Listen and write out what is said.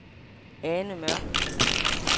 Ane Mørch